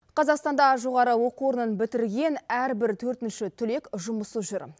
қазақстанда жоғары оқу орнын бітірген әрбір төртінші түлек жұмыссыз жүр